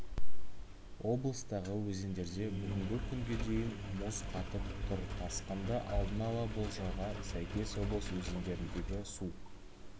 облыстағы өзендерде бүгінгі күнге дейін мұз қатып тұр тасқынды алдын ала болжауға сәйкес облыс өзендеріндегі су